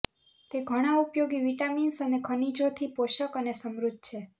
તે ઘણા ઉપયોગી વિટામિન્સ અને ખનિજોથી પોષક અને સમૃદ્ધ છે